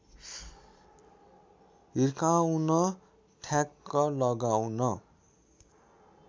हिर्काउन ठ्याक लगाउन